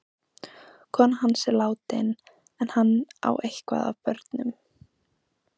Konan hans er látin en hann á eitthvað af börnum.